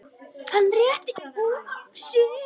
Hann rétti úr sér.